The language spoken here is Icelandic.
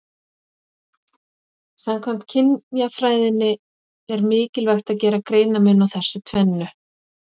Samkvæmt kynjafræðinni er mikilvægt að gera greinarmun á þessu tvennu.